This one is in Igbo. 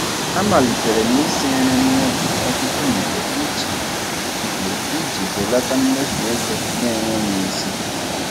A malitere m isi nri n'ụlọ ọtụtụ mgbe iji mgbe iji belata mmefu ego n'enweghị isi.